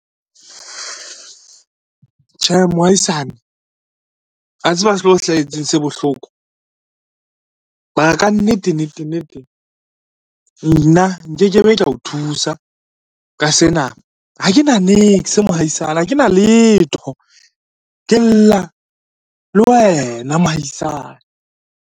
Tjhe mohaisane, a tseba seo hlahetseng se bohloko, mara kannete nnete nnete nna nke ke be ka o thusa ka sena, ha kena niks mohaisane ha kena letho, ke lla le wena mohaisana.